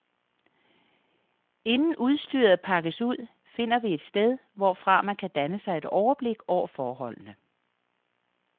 Inden udstyret pakkes ud, finder vi et sted, hvorfra man kan danne sig et overblik over forholdene.